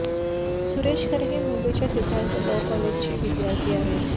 सुरेश खरे हे मुंबईच्या सिद्धार्थ लॉ कॉलेजचे विद्यार्थी आहेत